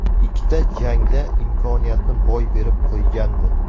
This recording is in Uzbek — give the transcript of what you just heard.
Ikkita jangda imkoniyatni boy berib qo‘ygandi.